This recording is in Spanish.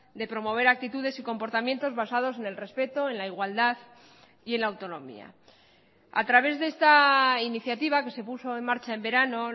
de promover actitudes y comportamientos basados en el respeto en la igualdad y en la autonomía a través de esta iniciativa que se puso en marcha en verano